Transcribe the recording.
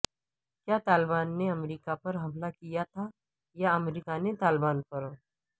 کیا طالبان نے امریکہ پر حملہ کیا تھا یا امریکہ نے طالبان پر